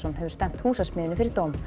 hefur stefnt Húsasmiðjunni fyrir dóm